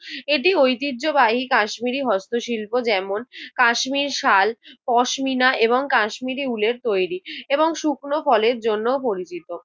এটি ঐতিহ্যবাহী কাশ্মীরি হস্তশিল্প যেমন, কাশ্মীর শাল, পশমিনা এবং কাশ্মীরি উলের তৈরি এবং শুকনো ফলের জন্য পরিচিত।